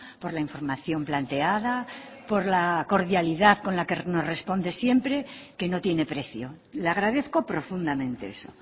por la información planteada por la cordialidad con la que nos responde siempre que no tiene precio le agradezco profundamente eso